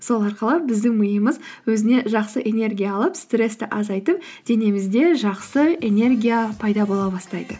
сол арқылы біздің миымыз өзіне жақсы энергия алып стрессті азайтып денемізде жақсы энергия пайда бола бастайды